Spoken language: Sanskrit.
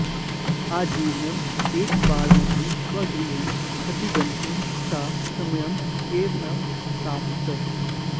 आजीवनम् एकवारमपि स्वगृहं प्रतिगन्तुं सा समयम् एव न प्रापत्